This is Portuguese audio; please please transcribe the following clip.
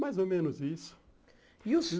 Mais ou menos isso. E os